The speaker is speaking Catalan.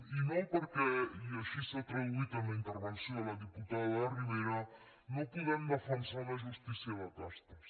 i no perquè i així s’ha traduït en la intervenció de la diputada de rivera no podem defensar una justí·cia de castes